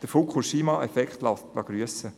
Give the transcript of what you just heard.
Der Fukushima-Effekt lässt grüssen.